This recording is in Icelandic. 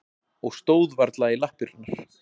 Og stóð varla í lappirnar.